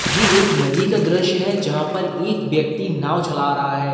ये एक नदी का दृश्य है जहाँ पर एक व्यक्ति नाव चला रहा है।